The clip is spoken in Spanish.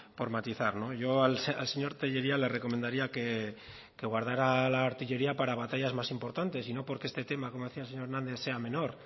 por matizar yo al señor tellería le recomendaría que guardara la artillería para batallas más importantes y no porque este tema como decía el señor hernández sea menor